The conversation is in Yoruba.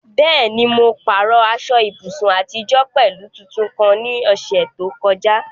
Bẹ́ẹ̀ ni, mo pààrọ̀ aṣọ ìbùsùn àtijọ́ pẹ̀lú tuntun kan ní ọ̀sẹ̀ tó kọjá.